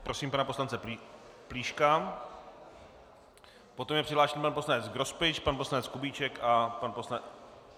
Prosím pana poslance Plíška, poté je přihlášen pan poslanec Grospič, pan poslanec Kubíček a pan poslanec...